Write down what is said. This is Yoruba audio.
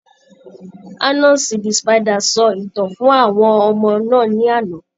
Anasi the spider sọ ìtàn fún àwọn ọmọ náà ní àná.